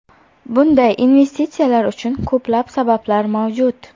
Bunday investitsiyalar uchun ko‘plab sabablar mavjud.